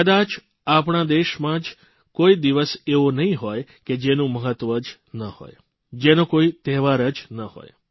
કદાય આપણા દેશમાં જ કોઇ દિવસ એવો નહીં હોય કે જેનું મહત્વ જ ન હોય જેનો કોઇ તહેવાર જ ન હોય